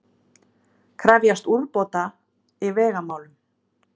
Krefjast úrbóta í vegamálum